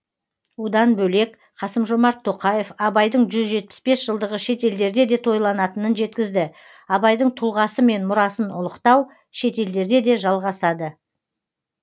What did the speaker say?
одан бөлек қасым жомарт тоқаев абайдың жүз жетпіс бес жылдығы шетелдерде де тойланатынын жеткізді абайдың тұлғасы мен мұрасын ұлықтау шетелдерде де жалғасады